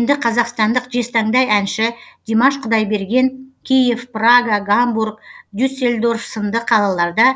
енді қазақстандық жезтаңдай әнші димаш құдайберген киев прага гамбург дюссельдорф сынды қалаларда